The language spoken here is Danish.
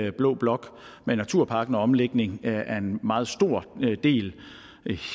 i blå blok med naturparken og omlægning af en meget stor del